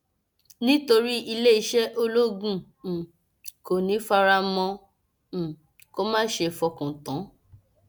nítorí iléeṣẹ ológun um kò ní í fara mọ um kó má ṣeé fọkàn tán